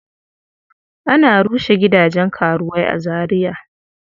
Ana rushe gidajen karuwai a Zariya.